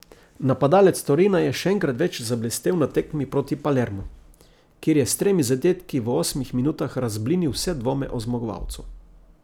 Napadalec Torina je še enkrat več zablestel na tekmi proti Palermu, kjer je s tremi zadetki v osmih minutah razblinil vse dvome o zmagovalcu.